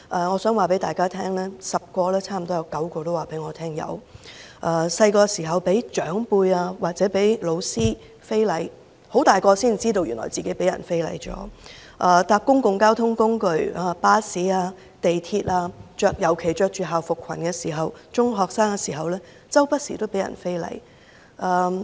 我想告訴大家 ，10 位女士之中，差不多有9位告訴我曾有這類經歷，例如小時候被長輩或教師非禮，到長大了才驚覺原來自己曾被人非禮；乘坐公共交通工具如巴士、地鐵，尤其是中學生穿着校服裙時，經常被人非禮。